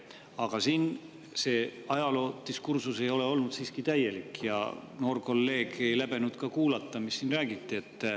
Aga see ajaloodiskursus ei ole olnud siin täielik ja noor kolleeg ei läbenud ka kuulata, mis siin räägiti.